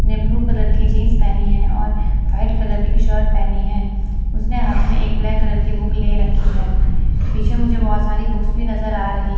ने blue colour की jeans पेहनी है और वाइट कलर की शर्ट पेहनी है उसने हाथ में एक ब्लैक कलर की बुक ले रखी है पीछे मुझे बहोत सारी बुक्स भी नजर आ रही--